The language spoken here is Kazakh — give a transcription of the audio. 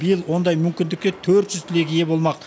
биыл ондай мүмкіндікке төрт жүз түлек ие болмақ